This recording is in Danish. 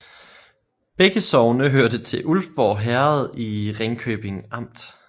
Begge sogne hørte til Ulfborg Herred i Ringkøbing Amt